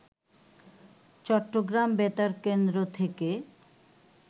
চট্টগ্রাম বেতার কেন্দ্র থেকে